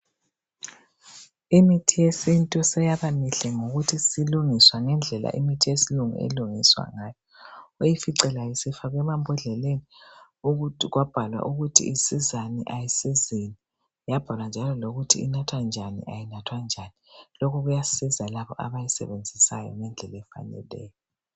imithi yesintu seyaba mihle ngokuthi isilungiswa ngendlela imithi yesilungu elungiswa ngayo uyifice layo isifakwe emambondleleni kwabhalwa ukuthi isizani ayisizini yabhalwa njalo lokuthi inathwa njani ayinathwa njani lokhu kuyasiza labo abayisebenzisayo ngendlela efaneleyo